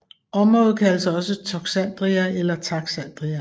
Området kaldes også Toxandria eller Taxandria